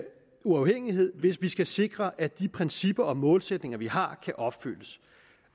uafhængighed hvis vi skal sikre at de principper og målsætninger vi har kan opfyldes